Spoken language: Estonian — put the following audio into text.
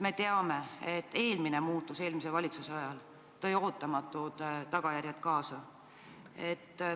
Me teame, et eelmine muudatus eelmise valitsuse ajal tõi ootamatud tagajärjed kaasa.